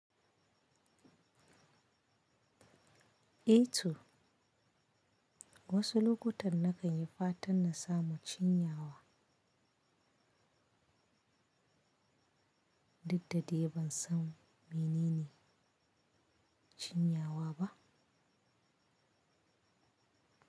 Ito wasu lokutan na kan yi fatan na samu cinyawa, Dukdadai ban san menene cinyawa ba.